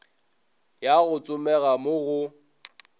ya go tsomega mo go